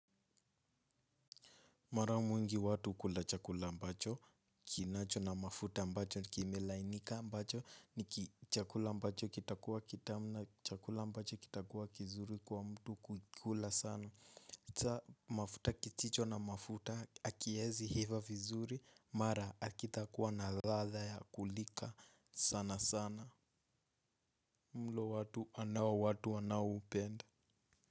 Mara mwingi watu kula chakula ambacho, kinacho na mafuta ambacho, kimelainika ambacho, nikichakula ambacho kitakua kitamu na, chakula ambacho kitakua kizuri kwa mtu kukikula sana. Sa mafuta kisicho na mafuta, hakiezi iva vizuri, mara hakitakuwa na ladha ya kulika sana sana. Mlo watu anao watu anaoupenda.